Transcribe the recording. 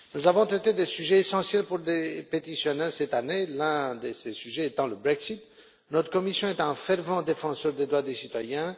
Nous avons traité des sujets essentiels pour des pétitionnaires, cette année, l'un de ces sujets étant le Brexit. Notre commission est un fervent défenseur des droits des citoyens.